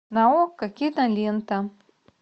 на окко кинолента